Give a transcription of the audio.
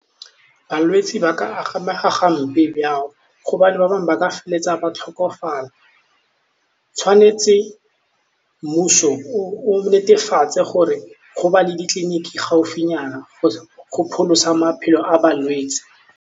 Balwetsi ba ka amega gobane ba bangwe ba ka feleletsa ba tlhokofala, tshwanetse mmuso o netefatse gore go ba le ditleliniki gaufinyana go pholosa maphelo a balwetsi.